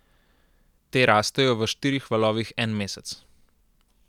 Te rastejo v štirih valovih en mesec.